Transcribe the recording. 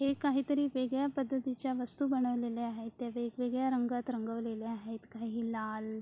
हे काहीतरी वेगळ्या पध्दतीच्या वस्तू बनवलेल्या आहेत त्या वेगवेगळ्या रंगात रंगवल्या आहेत काही लाल --